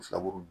Filaburu nunnu